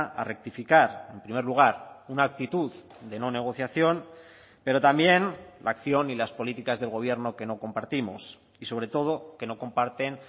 a rectificar en primer lugar una actitud de no negociación pero también la acción y las políticas del gobierno que no compartimos y sobre todo que no comparten